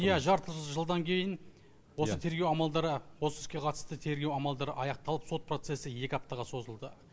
иә жарты жылдан кейін осы тергеу амалдары осы іске қатысты тергеу амалдары аяқталып сот процесі екі аптаға созылды